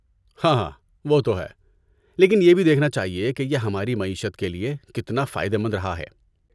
ہاہا، وہ تو ہے، لیکن یہ بھی دیکھنا چاہیے کہ یہ ہماری معیشت کے لیے کتنا فائدہ مند رہا ہے!